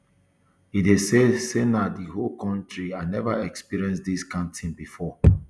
edey say say na um di whole whole kontri i never experienced dis kain tin bifor